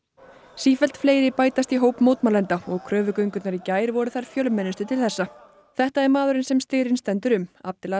sífellt fleiri bætast í hóp mótmælenda og í gær voru þær fjölmennustu til þessa þetta er maðurinn sem styrinn stendur um